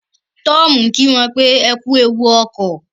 Tom kí wón wípé ẹkú ẹwù okọ